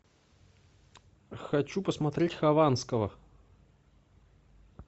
хочу посмотреть хованского